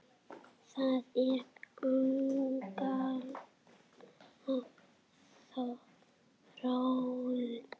Það er agaleg þróun.